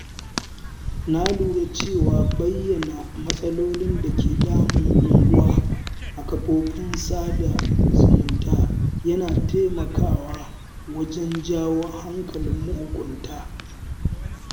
Na lura cewa bayyana matsalolin da ke damun unguwa a kafofin sada zumunta yana taimakawa wajen janyo hankalin mahukunta.